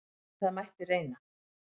En það mætti reyna!